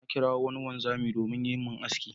Na kirawo wani wanzami domin yayi min aski.